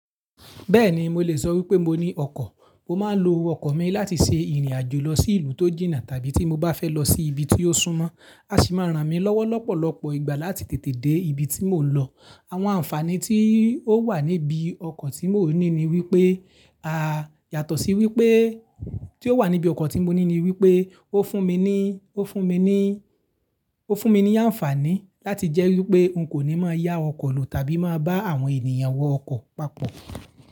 Bẹ́ẹ̀ni, mo lè sọ wípé mo ní ọkọ̀. Mo máa ń lo ọkọ̀ mi láti ṣe ìrìn àjò lọ sí ìlú tó jìnnà tàbí tí mo bá fẹ́ lọ sí ibi tí ó súnmọ́. A sì máa ràn mí lọ́wọ́ lọ́pọ̀lọpọ̀ ìgbà láti tètè dé ibi tí mò ń lọ. Àwọn ànfàní tí ó wà níbí ọkọ̀ tí mò ní ni wípé, à yàtọ̀ sí wípé tí ó wà níbí ọkọ̀ tí mo ní ní wípé ó fún mi ní, ó fún mi ní, ó fún mi ní ànfàní láti jẹ́ wípé n kò ní máa yá ọkọ̀ lò tàbí máa bá àwọn ènìyàn wọ ọkọ̀ papọ̀